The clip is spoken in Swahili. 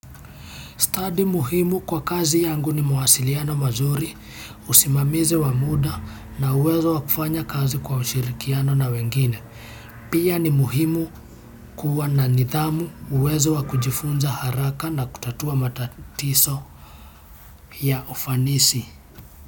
Stadi muhimu kwa kazi yangu ni mawasiliano mazuri, usimamizi wa muda na uwezo wa kufanya kazi kwa ushirikiano na wengine. Pia ni muhimu kuwa na nidhamu uwezo wa kujifunza haraka na kutatua matatizo ya ufanisi.